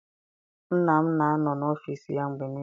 Nna m na anọ n'ọfịịsi ya mgbe niile.